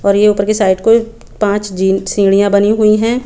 और ये ऊपर के साइड को पांच जिन सीड़ियाँ बनी हुई है।